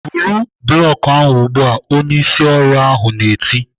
"Buru blọk ahụ ugbu a!" Onye ịsị ọrụ ahụ na-eti.